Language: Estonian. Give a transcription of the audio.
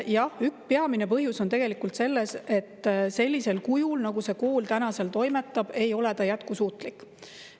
Jah, peamine põhjus on selles, et sellisel kujul, nagu see kool seal toimetab, ei ole ta jätkusuutlik.